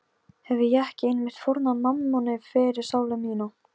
Hefi ég ekki einmitt fórnað mammoni fyrir sálu mína?